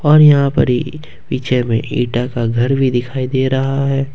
और यहां पर ही पीछे में ईटा का घर भी दिखाई दे रहा है ।